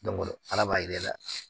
ala b'a yir'e la